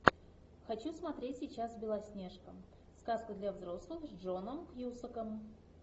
хочу смотреть сейчас белоснежка сказка для взрослых с джоном кьюсаком